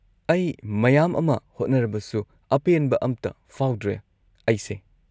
ꯑꯩ ꯃꯌꯥꯝ ꯑꯃ ꯍꯣꯠꯅꯔꯕꯁꯨ, ꯑꯄꯦꯟꯕ ꯑꯝꯇ ꯐꯥꯎꯗ꯭ꯔꯦ ꯑꯩꯁꯦ꯫